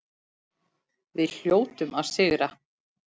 Við hljótum að sigra